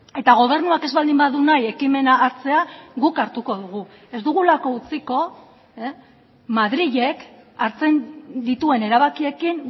eta gobernuak ez baldin badu nahi ekimena hartzea guk hartuko dugu ez dugulako utziko madrilek hartzen dituen erabakiekin